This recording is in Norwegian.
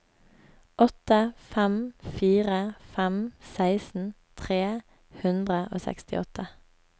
åtte fem fire fem seksten tre hundre og sekstiåtte